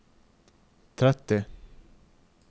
tretti